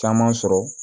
Caman sɔrɔ